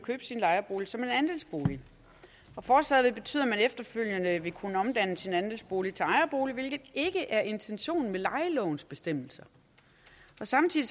sin lejebolig som andelsbolig og forslaget vil betyde at man efterfølgende vil kunne omdanne sin andelsbolig til ejerbolig hvilket ikke er intentionen med lejelovens bestemmelser samtidig